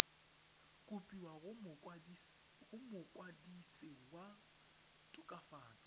kopiwa go mokwadise wa tokafatso